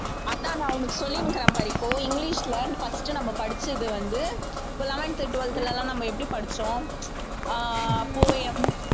அதான் நான் உனக்கு சொல்லினுக்கிறேன் பாரு இப்போ இங்கிலிஷ்ல first நம்ம படிச்சது வந்து இப்ப eleventh, twelfth ல எல்லாம் நம்ம எப்படி படிச்சோம் ஆஹ் poem